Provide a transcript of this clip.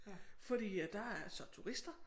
Fordi at der er så turister